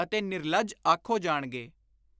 ਅਤੇ ਨਿਰਲੱਜ ਆਖੋ ਜਾਣਗੇ।